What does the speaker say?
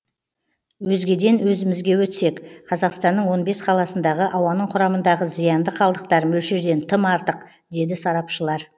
өзгеден өзімізге өтсек қазақстанның он бес қаласындағы ауаның құрамындағы зиянды қалдықтар мөлшерден тым артық деді сарапшылар